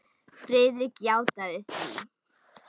Friðrik játaði því.